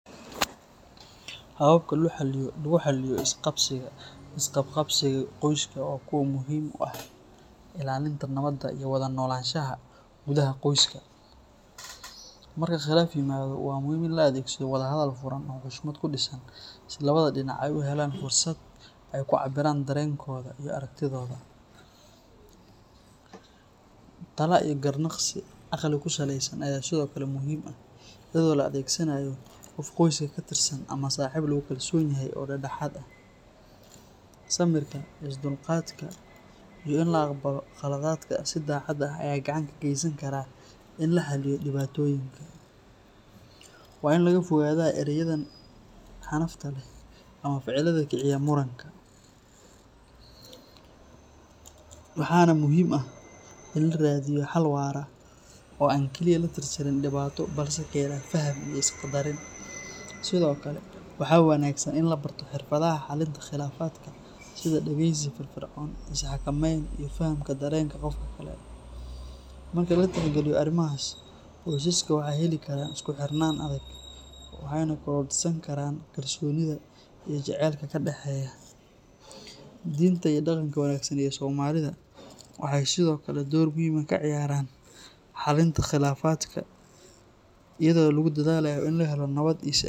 Hababka lagu xalliyo is-qabqabsiga qoyska waa kuwo muhiim u ah ilaalinta nabadda iyo wada noolaanshaha gudaha qoyska. Marka khilaaf yimaado, waa muhiim in la adeegsado wadahadal furan oo xushmad ku dhisan si labada dhinac ay u helaan fursad ay ku cabbiraan dareenkooda iyo aragtidooda. Talo iyo garnaqsi caqli ku saleysan ayaa sidoo kale muhiim ah, iyadoo la adeegsanayo qof qoyska ka tirsan ama saaxiib lagu kalsoon yahay oo dhexdhexaad ah. Samirka, is-dulqaadka iyo in la aqbalo khaladaadka si daacad ah ayaa gacan ka geysan kara in la xalliyo dhibaatooyinka. Waa in laga fogaadaa ereyada xanafta leh ama ficilada kiciya muranka, waxaana muhiim ah in la raadiyo xal waara oo aan kaliya la tirtirin dhibaato, balse keena faham iyo is-qaddarin. Sidoo kale, waxaa wanaagsan in la barto xirfadaha xalinta khilaafaadka sida dhageysi firfircoon, is-xakameyn iyo fahamka dareenka qofka kale. Marka la tixgeliyo arrimahaas, qoysaska waxay heli karaan isku xirnaan adag, waxayna korodhsan karaan kalsoonida iyo jacaylka ka dhaxeeya. Diinta iyo dhaqanka wanaagsan ee Soomaalida waxay sidoo kale door muhiim ah ka ciyaaraan xallinta khilaafaadka iyadoo lagu dadaalayo in la helo nabad iyo is-aaminaad waarta.